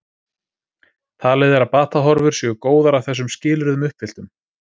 Talið er að batahorfur séu góðar að þessum skilyrðum uppfylltum.